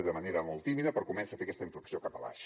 de manera molt tímida però comença a fer aquesta inflexió cap avall